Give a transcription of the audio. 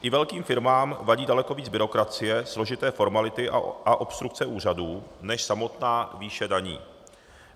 I velkým firmám vadí daleko víc byrokracie, složité formality a obstrukce úřadů než samotná výše daní.